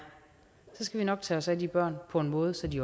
skal vi nok tage os af de børn på en måde så de